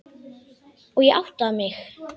Og ég átti mig.